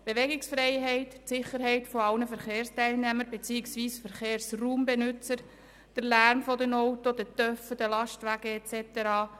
Die Bewegungsfreiheit, die Sicherheit aller Verkehrsteilnehmer beziehungsweise Verkehrsraumbenutzer, der Lärm der Autos, Motorräder, Lastwagen und so weiter.